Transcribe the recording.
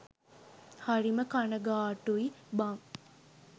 හරිම කණගාටුයි බං